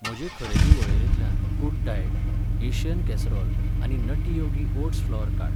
म्हजे खरेदी वळेरेंतल्यान गुड डायेट, एशियन कॅसरोल आनी नट्टी योगी ओट्स फ्लॉर काड.